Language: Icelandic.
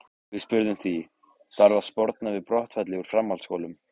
Við spurðum því, þarf að sporna við brottfalli úr framhaldsskólum?